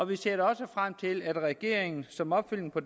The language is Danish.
vi ser da også frem til at regeringen som opfølgning på